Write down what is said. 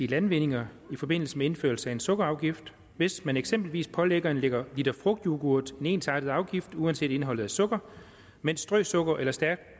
landvindinger i forbindelse med indførelsen af en sukkerafgift hvis man eksempelvis pålægger en liter frugtyoghurt en ensartet afgift uanset indholdet af sukker mens strøsukker eller stærkt